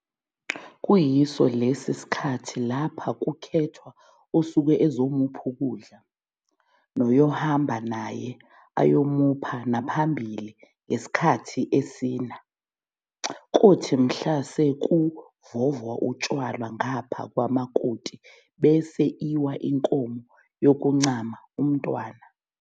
kuyiso lesi sikhathi lapha kukhethwa osuke ezomupha ukudla, noyohamba naye ayomupha naphambili ngesikhathi esina, kothi mhla sekuvovwa utshwala ngapha kwamakoti bese iwa inkomo yokuncama umntwana.